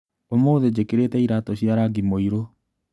ũmũthĩ njĩkĩrĩte iratũ cia rangi mũirũ.